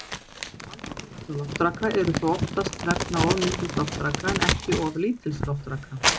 Vandamál vegna loftraka eru þó oftast vegna of mikils loftraka en ekki of lítils loftraka.